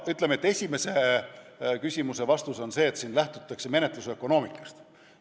Ütleme, et esimese küsimuse vastus on see, et siin lähtutakse menetlusökonoomikast.